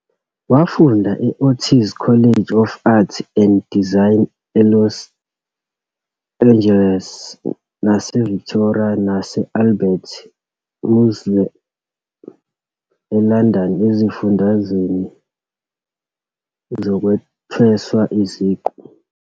Wafunda e-Otis College of Art and Design eLos Angeles naseVictoria nase-Albert Museum eLondon ezifundweni zokuthweswa iziqu.